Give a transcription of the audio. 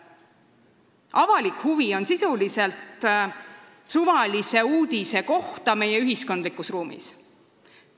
Avalik huvi käib sisuliselt suvalise uudise kohta meie ühiskondlikus ruumis.